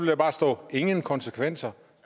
der bare stå ingen konsekvenser